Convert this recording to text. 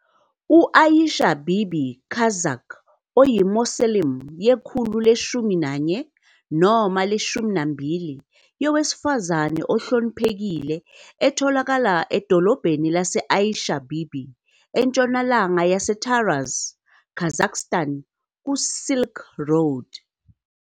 U-Aisha-Bibi, Kazakh, uyi-mausoleum yekhulu le-11 noma le-12 yowesifazane ohloniphekile etholakala edolobhaneni lase-Aisha Bibi, entshonalanga yase- Taraz, Kazakhstan kuSilk Road.